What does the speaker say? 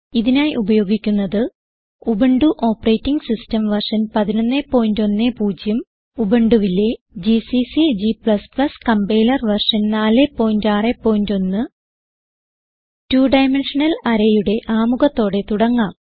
ഇതിനായി ഉപയോഗിക്കുന്നത് Ubuntu operating system version 1110 ഉബുണ്ടുവിലെ GCC g compiler version 461 2 dimensional Arrayയുടെ ആമുഖത്തോടെ തുടങ്ങാം